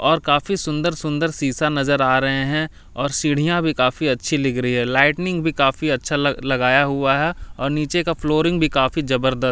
और काफी सुंदर- सुंदर शीशा नजर आ रहे हैं और सीढ़ियां भी काफी अच्छी लग रही है लाइटनिंग भी काफी अच्छा लगाया हुआ है और नीचे का फ्लोरिंग भी काफी जबरद--